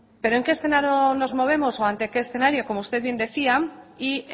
pero en qué escenario nos movemos o ante qué escenario como usted bien decía y